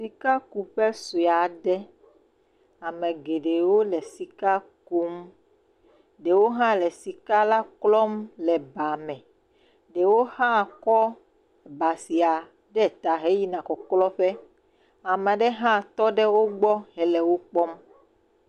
Sikakuƒe sue aɖe. Ame geɖewo le sika kum. Ɖewo hã le sika la klɔ le ba me. Ɖewo hã kɔ ba sia ɖe ta he yina kɔklɔ ƒe. ame aɖe hã tɔ ɖe wo gbɔ hele wokpɔm.